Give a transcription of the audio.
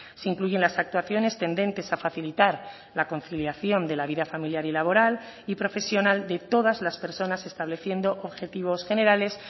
se incluyen las actuaciones tendentes a facilitar la conciliación de la vida familiar y laboral y profesional de todas las personas estableciendo objetivos generales